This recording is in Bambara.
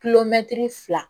Kilomɛtiri fila